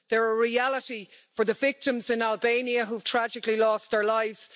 they are a reality for the victims in Albania who tragically lost their lives